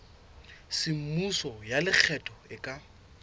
semmuso ya lekgetho e ka